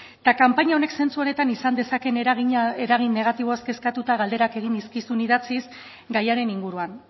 kanpaina honek zentzu honetan izan dezakeen eragin negatiboaz kezkatuta galderak egin nizkizun idatziz gaiaren inguruan